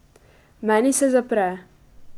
Meni se zapre.